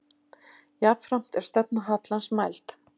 Jafnframt er stefna hallans mæld.